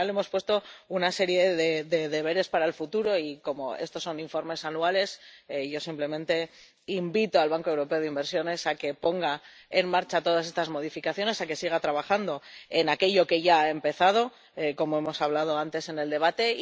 Al final le hemos puesto una serie de deberes para el futuro y, como estos son informes anuales, yo simplemente invito al Banco Europeo de Inversiones a que ponga en marcha todas estas modificaciones, a que siga trabajando en aquello que ya ha empezado, como hemos mencionado antes en el debate.